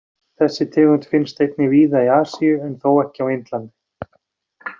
Þessi tegund finnst einnig víða í Asíu en þó ekki á Indlandi.